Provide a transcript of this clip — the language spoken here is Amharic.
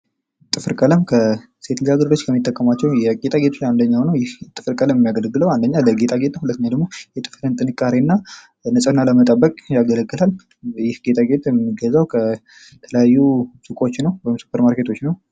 ጥፍር ቀለም ሴቶች ብዙ ጊዜ የሚጠቀሙት አይነት ነው ይህ ጥፍር ቀለም የሚያገለግለው አንደኛ ለጌጣጌጥ ሁለተኛ ደግሞ ጥንካሬ እና ንጽህና ለመጠበቅ ነው ቀለም የሚገዘው ከተለያዩ ሱቆች ወይም ሱፐር ማርኬቶች ነው።